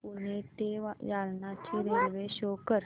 पूर्णा ते जालना ची railway show कर